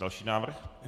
Další návrh.